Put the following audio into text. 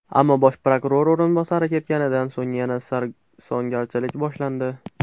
Ammo bosh prokuror o‘rinbosari ketganidan so‘ng yana sarsongarchilik boshlandi.